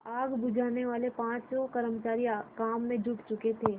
आग बुझानेवाले पाँचों कर्मचारी काम में जुट चुके थे